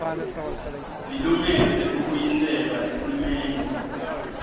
lilungelo lekubuyiselwa esimeni